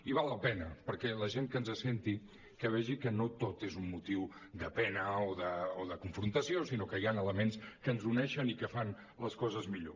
i val la pena perquè la gent que ens senti que vegi que no tot és un motiu de pena o de confrontació sinó que hi han elements que ens uneixen i que fan les coses millor